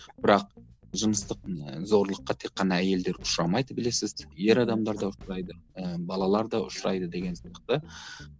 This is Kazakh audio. бірақ жыныстық ы зорлыққа тек қана әйелдер ұшырамайды білесіз ер адамдар да ұшырайды і балалар да ұшырайды деген сияқты